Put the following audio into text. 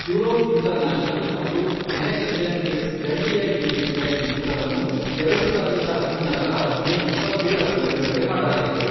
Euros International ಮತ್ತು Next Gen Films ಜಂಟಿಯಾಗಿ ನಿರ್ಮಿಸಿದ ಈ ಚಿತ್ರವನ್ನು, ಎರಡು ಸಾವಿರದ ಹದಿನಾರರ ಮೇ ಇಪ್ಪತ್ತೇಳರಂದು ಬಿಡುಗಡೆ ಮಾಡಲಾಯಿತು.